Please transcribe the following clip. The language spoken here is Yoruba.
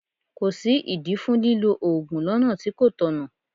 Kò sí ìdí fún lílọ Ògùn lọ́nà tí kò tọ̀nà.